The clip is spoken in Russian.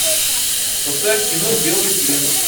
поставь кино белый плен